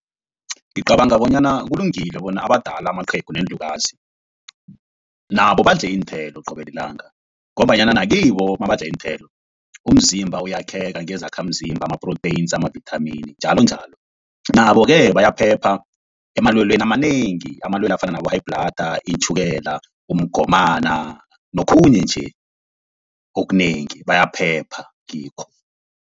Ngicabanga bonyana kulungile bona abadala amaqhegu neenlukazi, nabo badle iinthelo qobe lilanga, ngombanyana nakibo nabadla iinthelo umzimba uyakheka ngezakhamzimba ama-proteins, amavithamini njalonjalo. Nabo-ke bayaphepha emalwelweni amanengi amalwelwe afana nabo-high bhlada, itjhukela, umgomani nokhunye nje okunengi bayaphepha kikho.